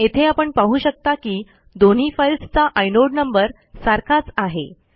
येथे आपण पाहू शकता की दोन्ही फाईल्सचा आयनोड नंबर सारखाच आहे